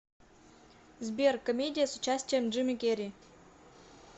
сбер комедия с участием джими керри